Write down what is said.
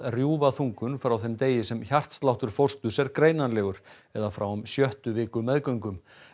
rjúfa þungun frá þeim degi sem hjartsláttur fósturs er greinanlegur eða frá um sjöttu viku meðgöngu